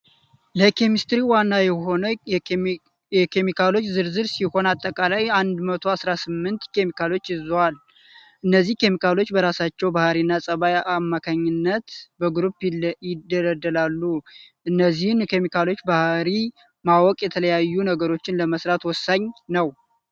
ለኬሚስትሪ ዋና የሆኑ የኬሚካሎች ዝርዝር ሲሆን አጠቃላይ 118 ኬሚካሎችን ይይዛል ። እነዚህ ኬሚካሎች በራሳቸው ባህሪና ፀባይ አማካይነት በግሩፕ ይደለደላሉ። የእነዚህን ኬሚካሎች ባህሪ ማወቅ የተለያዩ ነገሮችን ለመስራት ወሳኝ ነው።